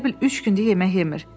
Elə bil üç gündür yemək yemir.